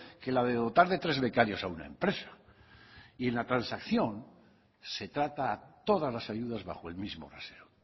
que la de dotar de tres becarios a una empresa y en la transacción se trata todas las ayudas bajo el mismo rasero